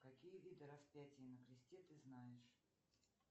какие виды распятий на кресте ты знаешь